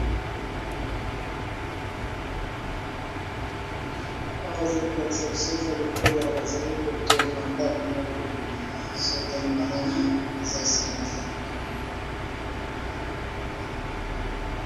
Awa bazali ko lakisa biso eza lokola bazali kotonga ndako moko boye, sotali malamu eza esika bazali kotonga.